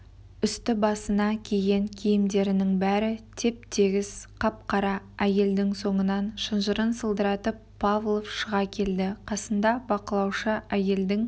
үсті-басына киген киімдерінің бәрі теп-тегіс қап-қара әйелдің соңынан шынжырын сылдыратып павлов шыға келді қасында бақылаушы әйелдің